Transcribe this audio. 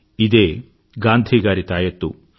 ఇదే గాంధీ గారి తాయత్తు